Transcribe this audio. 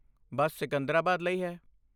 ਬੱਸ ਸਿਕੰਦਰਾਬਾਦ ਲਈ ਹੈ।